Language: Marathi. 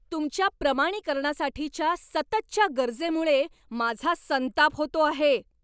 तुमच्या प्रमाणीकरणासाठीच्या सततच्या गरजेमुळे माझा संताप होतो आहे.